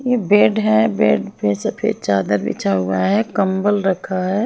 यह बेड है बेड पे सफेद चादर बिछा हुआ है कंबल रखा है।